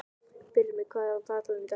Brimir, hvað er á dagatalinu í dag?